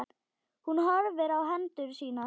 Hún horfir á hendur sínar.